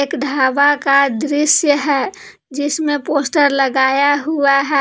ढाबा का दृश्य है जिसमें पोस्टर लगाया हुआ है।